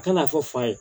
A kana fɔ fa ye